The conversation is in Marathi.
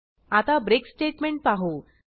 आता ब्रेक स्टेटमेंट पाहू